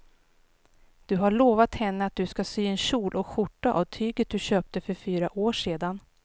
Du har lovat henne att du ska sy en kjol och skjorta av tyget du köpte för fyra år sedan.